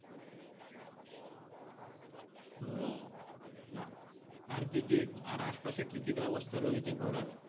ও বাহ! আর কি কি আর আশপাশে কি কি রয়েছে ঘুরার